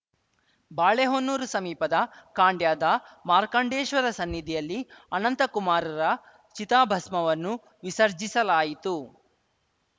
ಬಾಳೆಹೊನ್ನೂರು ಸಮೀಪದ ಖಾಂಡ್ಯದ ಮಾರ್ಕಾಂಡೇಶ್ವರ ಸನ್ನಿಧಿಯಲ್ಲಿ ಅನಂತಕುಮಾರ್‌ರ ಚಿತಾಭಸ್ಮವನ್ನು ವಿಸರ್ಜಿಸಲಾಯಿತು